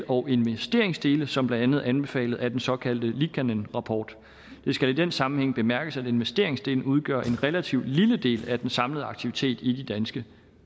og investeringsdele som blandt andet anbefalet af den såkaldte liikanen rapport det skal i den sammenhæng bemærkes at investeringsdelen udgør en relativt lille del af den samlede aktivitet i danske